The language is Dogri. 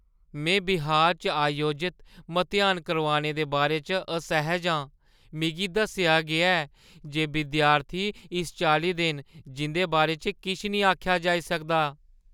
में बिहार च आयोजत मतेहान करोआने दे बारे च असैह्‌ज आं। मिगी दस्सेआ गेआ ऐ जे विद्यार्थी इस चाल्ली दे न जिं'दे बारे च किश निं आखेआ जाई सकदा न।